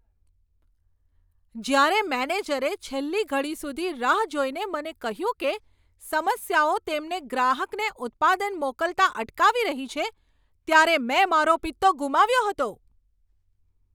જ્યારે મેનેજરે છેલ્લી ઘડી સુધી રાહ જોઈને મને કહ્યું કે સમસ્યાઓ તેમને ગ્રાહકને ઉત્પાદન મોકલતા અટકાવી રહી છે, ત્યારે મેં મારો પિત્તો ગુમાવ્યો હતો.